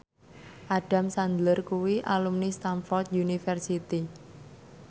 Adam Sandler kuwi alumni Stamford University